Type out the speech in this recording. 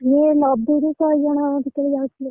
ସେ ନଦିହେଇ ଶହେଜଣ ଭିତରେ ହବ ସେଥିରେ ଯାଉଥିଲେ।